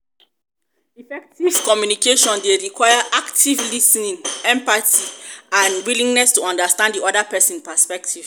effective communication dey require active lis ten ing empathy lis ten ing empathy and a willingness to understand di oda person's perspective.